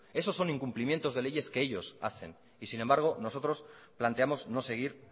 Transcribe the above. esos son incumplimientos de leyes que ellos hacen y sin embargo nosotros planteamos no seguir